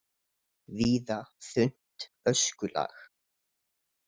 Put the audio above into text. Víða þunnt öskulag